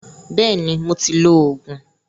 Bẹ́ẹ̀ni, mo ti lo Ògùn